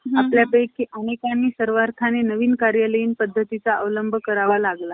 उत्तेजक मंडळ स्थापन करण्यासाठी कोल्हड अं कोल्हाडकरांना सहकार्य केले. या नावातही थोडं सुधारण करून पुनर्विवाह प्रतिबंध,